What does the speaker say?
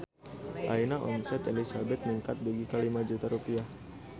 Ayeuna omset Elizabeth ningkat dugi ka 5 juta rupiah